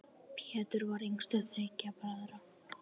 Pétur var yngstur þriggja bræðra.